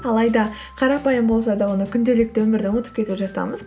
алайды қарапайым болса да оны күнделікті өмірде ұмытып кетіп жатамыз